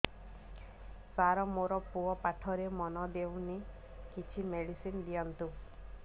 ସାର ମୋର ପୁଅ ପାଠରେ ମନ ଦଉନି କିଛି ମେଡିସିନ ଦିଅନ୍ତୁ